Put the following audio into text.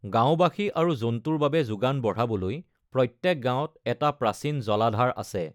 গাওঁবাসী আৰু জন্তুৰ বাবে যোগান বঢ়াবলৈ প্ৰত্যেক গাঁৱত এটা প্ৰাচীন জলাধাৰ আছে।